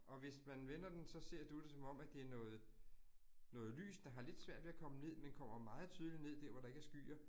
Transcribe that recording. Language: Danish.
Og hvis man vender den, så ser du det som om, at det noget noget lys, der har lidt svært ved at komme ned, men kommer meget tydeligt ned dér, hvor der ikke er skyer